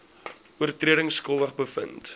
oortredings skuldig bevind